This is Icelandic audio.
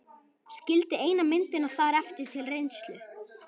Skildi eina myndina þar eftir til reynslu.